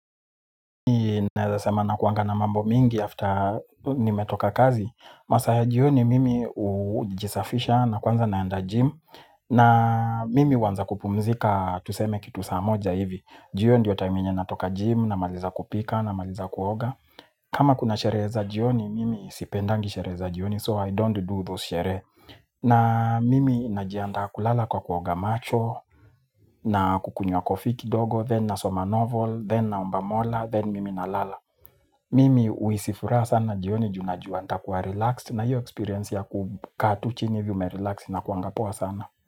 Naweza sema nakuanga na mambo mingi after nimetoka kazi masaa ya jioni mimi ujisafisha na kwanza naenda gym na mimi huanza kupumzika tuseme kitu saa moja hivi juu hio ndio time yenye natoka gym namaliza kupika namaliza kuoga kama kuna sherehe za jioni mimi sipendangi sherehe za jioni so I don't do those sherehe na mimi najiandaa kulala kwa kuoga macho na kukunywa coffee kidogo. Then nasoma novel. Then naomba mola. Then mimi nalala mimi huhisi furaha sana jioni juu najua nitakuwa relaxed na hiyo experience ya kukaa tu chini hivi umerelax inakuanga poa sana.